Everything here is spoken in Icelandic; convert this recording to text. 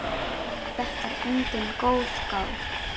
Þetta er engin goðgá.